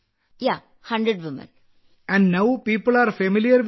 ഇപ്പോൾ ആളുകൾക്ക് ഈ താമരത്തണ്ട് നാരുകൾ പരിചിതമാണല്ലേ